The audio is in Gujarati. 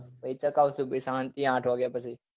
પછી ચાગવીસું પછી શાંતિ થી આંઠ વાગ્યા પછી